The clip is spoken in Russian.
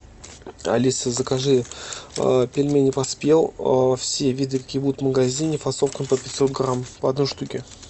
алиса закажи пельмени поспел все виды какие будут в магазине фасовкой по пятьсот грамм по одной штуке